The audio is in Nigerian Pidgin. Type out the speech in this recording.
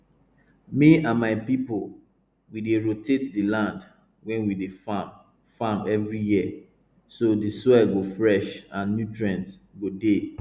me and my people we dey rotate di land wey we dey farm farm every year so di soil go fresh and nutrients go dey